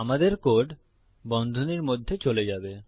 আমাদের কোড বন্ধনীর মধ্যে চলে যাবে